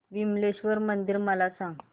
विमलेश्वर मंदिर मला सांग